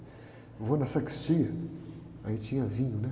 Eu vou na sacristia, aí tinha vinho, né?